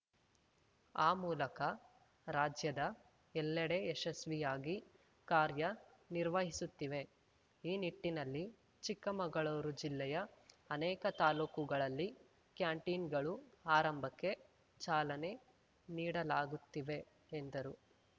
ಆ ಮೂಲಕ ರಾಜ್ಯದ ಎಲ್ಲೆಡೆ ಯಶಸ್ವಿಯಾಗಿ ಕಾರ್ಯನಿರ್ವಹಿಸುತ್ತಿವೆ ಈ ನಿಟ್ಟಿನಲ್ಲಿ ಚಿಕ್ಕಮಗಳೂರು ಜಿಲ್ಲೆಯ ಅನೇಕ ತಾಲೂಕುಗಳಲ್ಲಿ ಕ್ಯಾಂಟೀನ್‌ಗಳು ಆರಂಭಕ್ಕೆ ಚಾಲನೆ ನೀಡಲಾಗುತ್ತಿದೆ ಎಂದರು